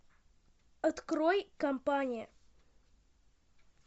открой компания